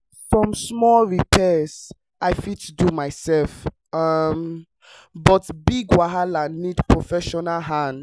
some small repairs i fit do myself um but big wahala need professional hand.